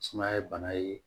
Sumaya ye bana ye